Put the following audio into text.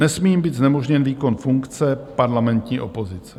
Nesmí jí být znemožněn výkon funkce parlamentní opozice.